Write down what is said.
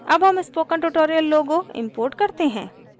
अब हम spoken tutorial logo import करते हैं